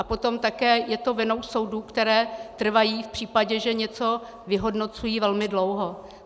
A potom také je to vinou soudů, které trvají v případě, že něco vyhodnocují, velmi dlouho.